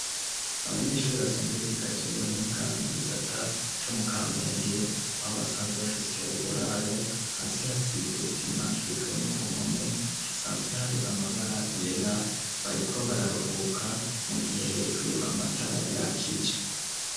Abanyeshuri basanzwe biga Ibijanye n'ubuhinga ,mu gisata co mu kampenge, aho basanzwe bafise uburaro hasi hasize isima, hejuru no ku mpome hasanzwe hari amabara yera ,bariko bararuhubaka mu gihe hejuru amatara ya kije.